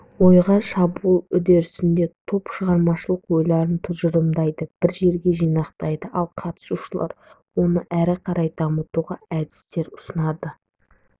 ойға шабуыл үрдісінде топ шығармашылық ойларын тұжырымдайды бір жерге жинақтайды ал қатысушылар оны әрі қарай дамытуға әдістер ұсынады